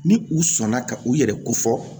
Ni u sɔnna ka u yɛrɛ ko fɔ